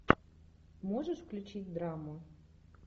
можешь включить драму